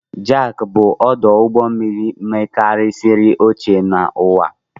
Jaffa bụ ọdụ ụgbọ mmiri mekarisiri ochie n'ụwa a.